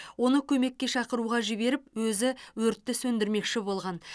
оны көмекке шақыруға жіберіп өзі өртті сөндірмекші болған